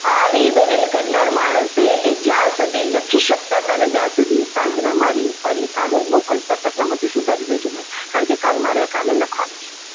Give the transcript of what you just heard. આવી દલીલ કરનાર માણસે એ જ્યાં સુધી લખી શકતા હતા ને ત્યાં સુધી સાંજના મારી ઉપર એક કાગળ મોકલતા હતા કે ભૂલો સુધારી દેજો કારણ કે મારે કાલે આ કાગળ લખવાનું છે.